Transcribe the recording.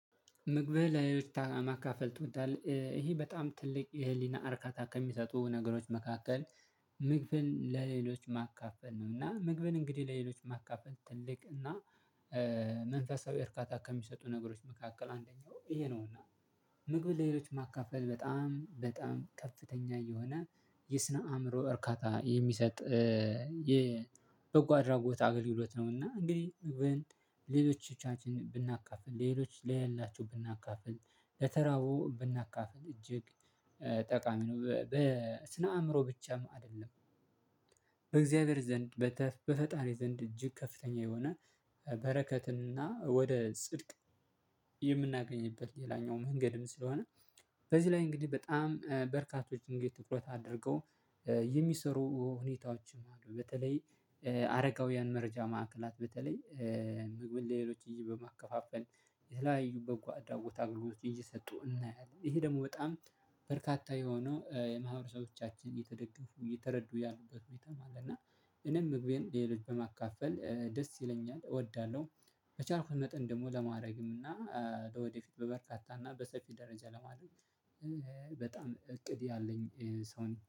ምግብህን ለሌሎች ማካፈል ትወዳለህ? ይሄ በጣም ትልቅ የህሊና አርካታ ከሚሰጡ ነገሮች መካከል። ምግብን ለሌሎች ማካፈል እና ምግብን እንግዲህ ለሌሎች ማካፈል ትልቅ እና መንፈሳዊ እርካታ ከሚሰጡ ነገሮች መካከል አንደኛው ይሄ ነውና። ምግብን ለሌሎች ማካፈል በጣም በጣም ከፍተኛ የሆነ የስነ አእምሮ እርካታ የሚሰጥ የበጎ አድራጎት አገልግሎት ነውና እንግዲህ። ለሌሎቻችን ብናካፍል ለሌሎች ለሌላቸው ብናካፍል ለተራቡ ብናካፍል እጅግ ጠቃሚ ነው በስነ አእምሮ ብቻም አይደለም። በእግዚአብሔር ዘንድ በፈጣሪ ዘንድ እጅግ ከፍተኛ የሆነ በረከትና ወደ ጽድቅ። የምናገኝበት ሌላኛው መንገድም ስለሆነ። በዚህ ላይ እንግዲህ በጣም በርካቶች እንግዲህ ትኩረት አድርገው የሚሰሩ ሁኔታዎችም አሉ። በተለይ አረጋውያን መርጃ ማዕከላት በተለይ ምግብ ለሌሎች ልጆች በማከፋፈል የተለያዩ በጎ አድራጎት አገልግሎት እየሰጡ እናያለን። ይሄ ደግሞ በጣም በርካታ የሆነው የማህበረሰቦቻችን እየተደገፉ እየተረዱ ያሉበት ነው። የተማረ እና እኔም ምግቤን ሌሎች በማካፈል ደስ ይለኛል እወዳለሁ። በቻልኩት መጠን ደግሞ ለማድረግም እና ለወደፊት በበርካታ እና በሰፊ ደረጃ ለማድረግ። በጣም እቅድ ያለኝ ሰው ነኝ